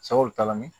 Sabul t'a la ni